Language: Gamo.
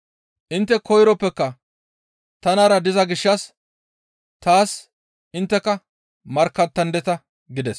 Intte koyroppeka tanara diza gishshas taas intteka markkattandeta» gides.